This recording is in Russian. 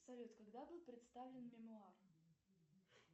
салют когда был представлен мемуар